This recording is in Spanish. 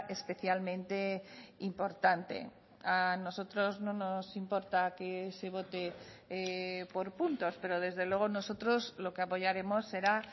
especialmente importante a nosotros no nos importa que se vote por puntos pero desde luego nosotros lo que apoyaremos será